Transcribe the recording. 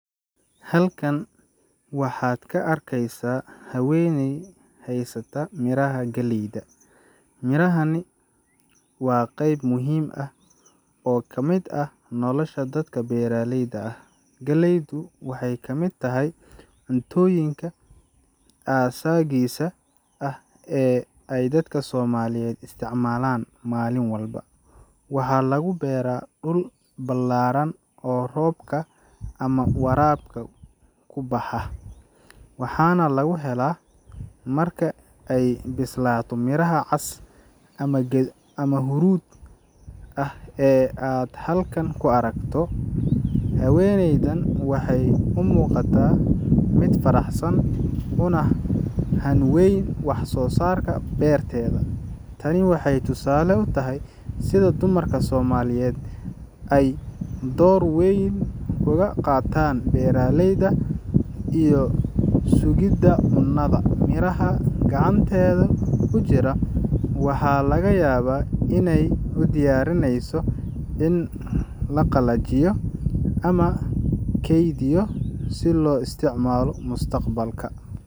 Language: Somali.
Halkan waxaad ka arkeysaa haweeney haysta miraha galleyda. Mirahani waa qeyb muhiim ah oo ka mid ah nolosha dadka beeraleyda ah. Galleydu waxay ka mid tahay cuntooyinka aasaasiga ah ee ay dadka Soomaaliyeed isticmaalaan maalin walba. Waxaa lagu beeraa dhul ballaaran oo roobka ama waraabka ku baxa, waxaana laga helaa marka ay bislaato miraha cas ama huruud ah ee aad halkan ku aragto. Haweeneydan waxay u muuqataa mid faraxsan, una hanweyn wax-soosaarka beerteeda. Tani waxay tusaale u tahay sida dumarka Soomaaliyeed ay door weyn uga qaataan beeraleyda iyo sugidda cunnada. Miraha gacanteeda ku jira waxaa laga yaabaa inay u diyaarinayso in la qalajiyo ama la keydiyo si loo isticmaalo mustaqbalka.